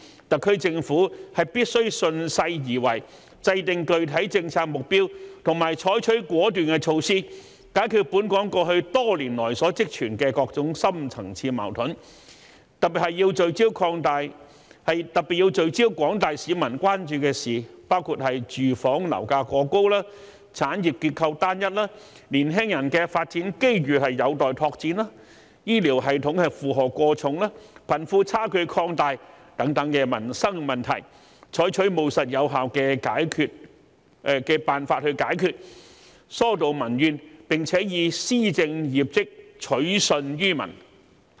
特區政府必須順勢而為，制訂具體政策目標及採取果斷措施，解決本港過去多年來所積存的各種深層次矛盾，特別是要聚焦廣大市民關注的事項，包括住房樓價過高、產業結構單一、年輕人的發展機遇有待拓展、醫療系統負荷過重、貧富差距擴大等民生問題，採取務實有效的辦法解決，疏導民怨，並以施政業績取信於民。